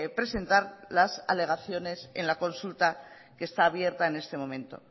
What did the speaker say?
presentar las alegaciones en la consulta que está abierta en este momento